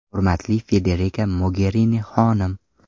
Hurmatli Federika Mogerini xonim!